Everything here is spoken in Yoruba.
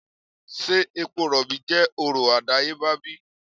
se epo robi je oro adayeba bi?